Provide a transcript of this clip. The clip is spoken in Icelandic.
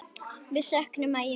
Við söknum Maju mikið.